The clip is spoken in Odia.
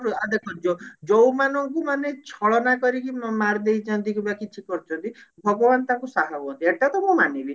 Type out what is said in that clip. ଆ ଦେଖନ୍ତୁ ଯୋ ଯଉ ମାନଙ୍କୁ ମାନେ ଛଳନା କରିକି ମାରିଦେଇଛନ୍ତି କିମ୍ବା କିଛି କରିଛନ୍ତି ଭଗବାନ ତାଙ୍କୁ ସାହା ହୁଅନ୍ତି ଏଟା ତ ମୁଁ ମାନିବି